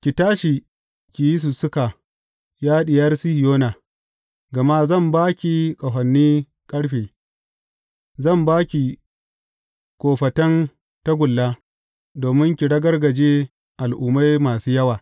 Ki tashi ki yi sussuka, ya Diyar Sihiyona, gama zan ba ki ƙahonin ƙarfe; zan ba ki kofatan tagulla domin ki ragargaje al’ummai masu yawa.